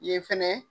Yen fɛnɛ